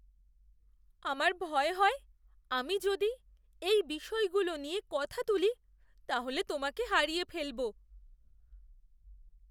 আমার ভয় হয় আমি যদি এই বিষয়গুলো নিয়ে কথা তুলি তাহলে তোমাকে হারিয়ে ফেলব।